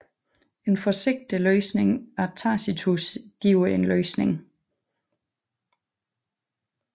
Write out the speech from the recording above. En forsigtig læsning af Tacitus giver en løsning